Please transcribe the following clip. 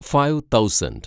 five thousand